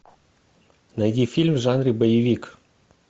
найди фильм в жанре боевик